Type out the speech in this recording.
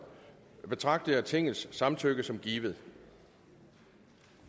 betragter jeg tingets samtykke som givet